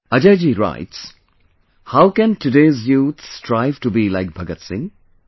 Ajay ji writes How can today's youth strive to be like Bhagat Singh